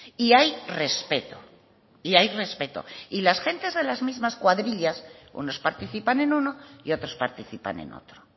y hay respeto y hay respeto y las gentes de las mismas cuadrillas unos participan en uno y otros participan en otro